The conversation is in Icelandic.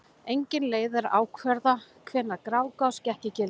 Engin leið er að ákvarða hvenær Grágás gekk í gildi.